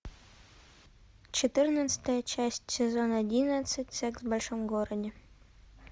четырнадцатая часть сезон одиннадцать секс в большом городе